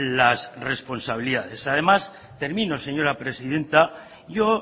las responsabilidades además termino señora presidenta yo